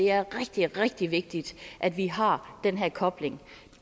er rigtig rigtig vigtigt at vi har den her kobling